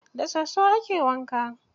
Da soso ake wanka.